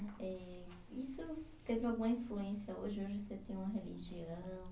Eh, isso teve alguma influência hoje, hoje você tem uma religião?